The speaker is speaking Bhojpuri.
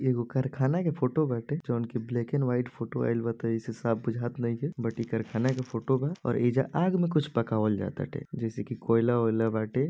ये कारखाना की फोटो बाटे जोनकी ब्लैक एण्ड व्हाइट फोटो आइल बा त एहीसे साफ़ बुझात नइखे बट इ कारखाना के फोटो बा और एइजा आग में कुछ पकावाल जा ताटे जैसे कि कोयला वोइला बाटे।